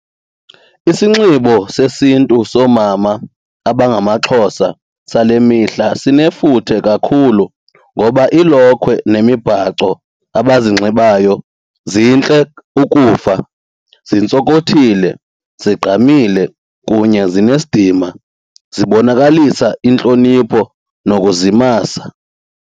Isinxibo sesiNtu soomama abangamaXhosa sale mihla sinefuthe kakhulu ngoba iilokhwe nemibhaco abazinxibayo zintle ukufa zintsokothile zigqamile kunye zinesidima zibonakalisa intlonipho nokuzimasa.